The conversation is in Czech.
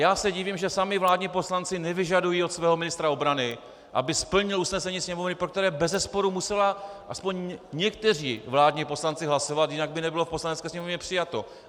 Já se divím, že sami vládní poslanci nevyžadují od svého ministra obrany, aby splnil usnesení Sněmovny, pro které bezesporu museli aspoň někteří vládní poslanci hlasovat, jinak by nebylo v Poslanecké sněmovně přijato.